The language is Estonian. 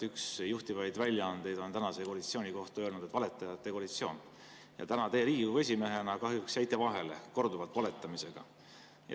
Üks juhtivaid väljaandeid on tänase koalitsiooni kohta öelnud "valetajate koalitsioon" ja täna teie Riigikogu esimehena kahjuks jäite korduvalt vahele valetamisega.